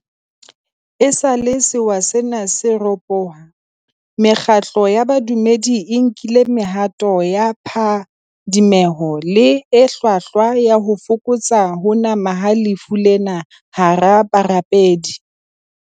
Esale sewa sena se ropoha, mekgatlo ya bo dumedi e nkile mehato ya phadimeho le e hlwahlwa ya ho fokotsa ho nama ha lefu lena hara barapedi.